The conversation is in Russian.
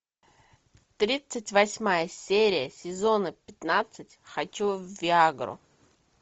тридцать восьмая серия сезона пятнадцать хочу в виагру